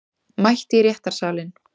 Mætt í réttarsalinn